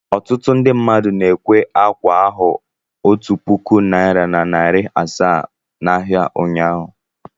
Ọtụtụ ndị mmadụ na-ekwe ákwà ahu otu puku naịra na narị asaa n'ahịa ụnyahụ.